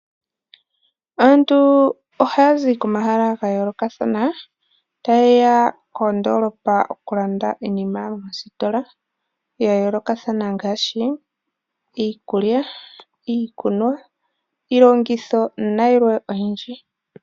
Aantu oha yazi komahala gayo lokathana ta yeya kodoolopa okulanda iinima yawo mositola, yayo lokathana ngaashi iikulya, iikunwa, iilongitho nayilwe oyindji.